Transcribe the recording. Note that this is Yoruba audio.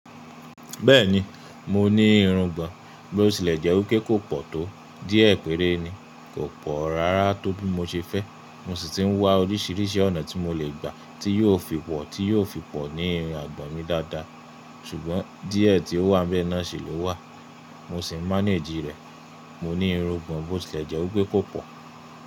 Bẹ́ẹ̀ni, mo ní irungbọ̀n, bó ti lè jẹ́ òkè kò pò tó. Díẹ̀ péré ni, kò pò rárá tó bí mo ṣe fẹ́. Mo sì ti ń wá oríṣìíríṣìí ọ̀nà tí mo lè gbà tí yóò fi pò, tí yóò fi pò ní irun àgbọ̀n mi dáadáa. Ṣùgbọ́n díẹ̀ tí ó wá bẹ́ẹ́ náà ṣe ló wà. Mo sì ń manage rẹ̀. Mo ní irungbọ̀n bó ti lè jẹ́ wipe kò pò.